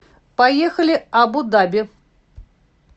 поехали абу даби